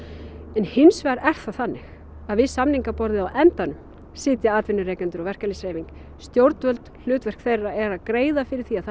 en hins vegar er það þannig að við samningaborðið á endanum sitja atvinnurekendur og verkalýðshreyfing stjórnvöld hlutverk þeirra er að greiða fyrir því að